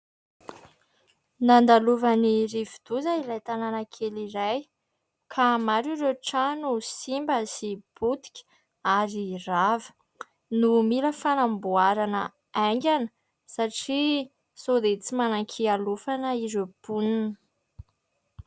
Nandalovan'ny rivodoza ilay tanàna kely iray. Ka maro ireo trano simba sy potika ary rava no mila fanamboarana aingana satria sao dia tsy manan-kialofana ireo mponina.